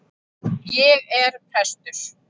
Ég er prestur.